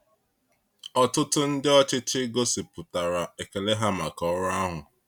Ọtụtụ ndị ọchịchị gosipụtara ekele ha maka ọrụ ahụ.